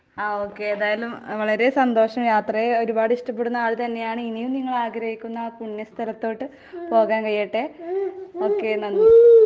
അഹ് okay ഏതായാലും വളരെ സന്തോഷം യാത്രയെ ഒരുപാടിഷ്ടപ്പെടുന്ന ആൾ തന്നെയാണ്. ഇനിയും നിങ്ങളാഗ്രഹിക്കുന്ന ആ പുണ്യസ്ഥലത്തോട്ട് പോകാൻ കഴിയട്ടെ, ഓക്കെ നന്ദി.